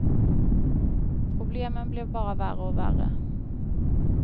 Problemen blev bara värre och värre.